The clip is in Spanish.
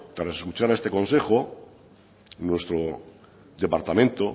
tras escuchar a este consejo nuestro departamento